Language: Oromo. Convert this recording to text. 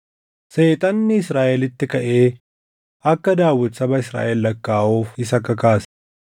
Seexanni Israaʼelitti kaʼee akka Daawit saba Israaʼel lakkaaʼuuf isa kakaase.